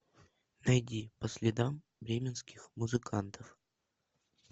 найди по следам бременских музыкантов